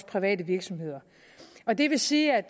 private virksomheder og det vil sige at